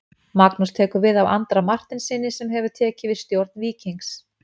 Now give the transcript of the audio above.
Magnús tekur við af Andra Marteinssyni sem hefur tekið við stjórn Víkings.